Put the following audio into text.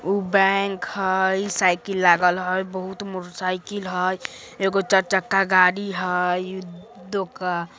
उ बैंक हई साइकिल लागल हई बहुत मोटर साइकिल हई एगो चार-चक्का गाड़ी हई दोका--